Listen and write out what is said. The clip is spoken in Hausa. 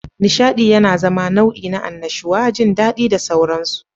Nishaɗi yana zama nau'i na annashuwa, jin daɗi da sauransu.